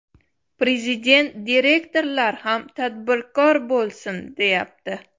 Prezident direktorlar ham tadbirkor bo‘lsin, deyapti.